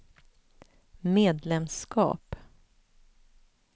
medlemskap